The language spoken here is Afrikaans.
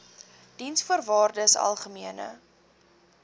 diensvoorwaardesalgemene